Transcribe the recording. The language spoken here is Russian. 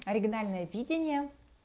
оригинальное видение